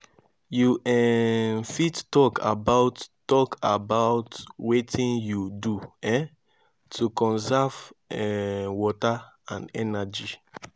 you um fit talk about talk about wetin you do um to conserve um water and energy?